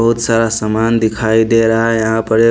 बहुत सारा सामान दिखाई दे रहा है यहाँ पर --